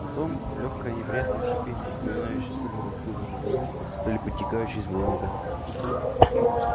потом лёгкое неприятное шипение напоминающее то ли разбуженную змею то ли подтекающий из баллона газ